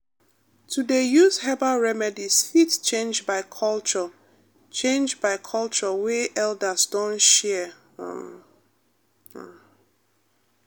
to dey use herbal remedies fit change by culture change by culture wey elders don share um um.